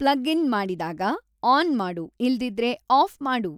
plug in ಮಾಡಿದಾಗ on ಮಾಡು ಇಲ್ದಿದ್ರೆ ಆಫ್ ಮಾಡು